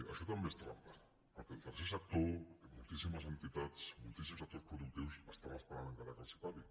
això també és trampa perquè el tercer sector i moltíssimes entitats moltíssims sectors productius estan esperant encara que els pagui